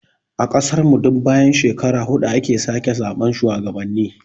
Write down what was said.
A ƙasan mu duk bayan shekara hudu ake sake zaɓen shuwagabanni